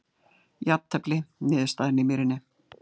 Jafntefli niðurstaðan í Mýrinni